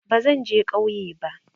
Bazan je kauye ba